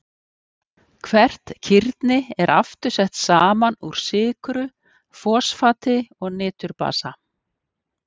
Hvert kirni er aftur sett saman úr sykru, fosfati og niturbasa.